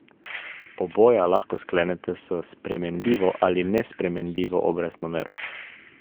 Oboja lahko sklenete s spremenljivo ali nespremenljivo obrestno mero.